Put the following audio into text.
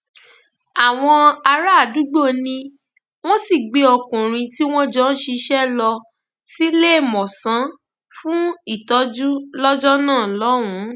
àwọn àràádúgbò ni wọn sì gbé ọkùnrin tí wọn jọ ń ṣiṣẹ lọ síléemọsán fún ìtọjú lọjọ náà lọhùnún